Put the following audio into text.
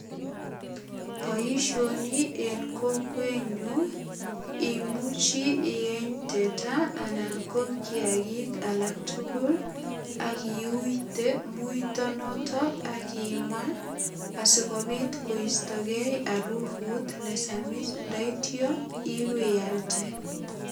Boisioni en kokwenyu, imuchi ieny teta anan ko kiagik alak tugul ak iuite muito noton ak imaa asigopit koistogei arufut ne samis. Ndaityo ipiyalde.